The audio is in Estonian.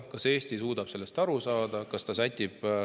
Kas Eesti suudab sellest aru saada?